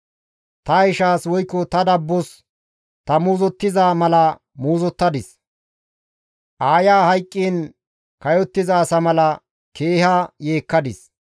Ta ishaas woykko ta dabbos ta muuzottiza mala muuzottadis; aaya hayqqiin kayottiza asa mala keeha yeekkadis.